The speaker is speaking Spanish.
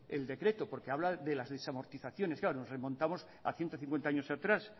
el decreto porque habla de las desamortizaciones claro nos remontamos a ciento cincuenta años atrás